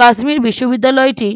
কাশ্মীর বিশ্ববিদ্যালয়টি